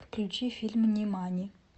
включи фильм нимани